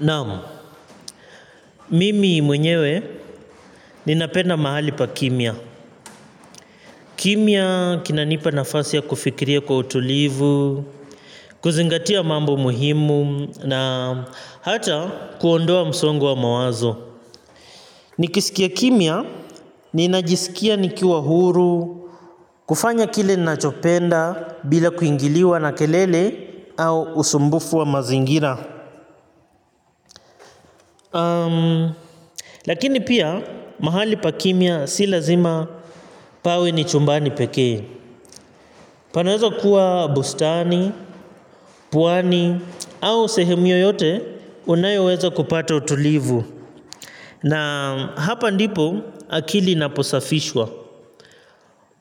Naam, mimi mwenyewe ninapenda mahali pa kimya. Kimya kinanipa nafasi ya kufikiria kwa utulivu, kuzingatia mambo muhimu na hata kuondoa msongo wa mawazo. Nikisikia kimya, ninajisikia nikiwa huru, kufanya kile nachopenda bila kuingiliwa na kelele au usumbufu wa mazingira. Lakini pia mahali pa kimya si lazima pawe ni chumbani pekee. Panaweza kuwa bustani, pwani au sehemu yoyote unayoweza kupata utulivu. Na hapa ndipo akili inaposafishwa.